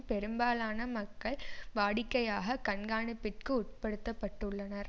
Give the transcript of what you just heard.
பெரும்பாலன மக்கள் வாடிக்கையாக கண்காணிப்பிற்கு உட்படுத்த பட்டுள்ளனர்